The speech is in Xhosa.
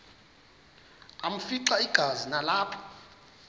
afimxa igazi nalapho